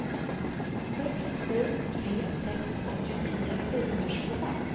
sex sju tre sex åttionio fyrahundratjugofem